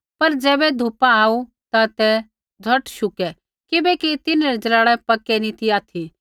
पर ज़ैबै धुपा आऊ ता ते झ़ोट शुकै किबैकि तिन्हरै ज़लाड़ै पैक्कै नी ती ऑथि